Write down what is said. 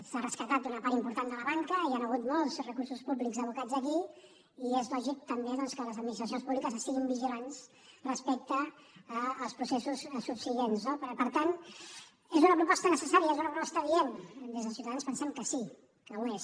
s’ha rescatat una part important de la banca hi han hagut molts recursos públics abocats aquí i és lògic també doncs que les administracions públiques estiguin vigilants respecte als processos subsegüents no però per tant és una proposta necessària és una proposta adient des de ciutadans pensem que sí que ho és